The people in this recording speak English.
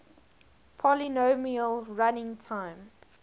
polynomial running time